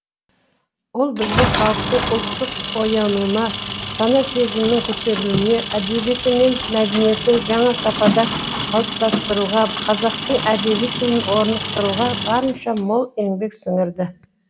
ол біздің халықтың ұлттық оянуына сана сезімінің көтерілуіне әдебиеті мен мәдениетін жаңа сапада қалыптастыруға қазақтың әдеби тілін орнықтыруға барынша мол еңбек сіңірді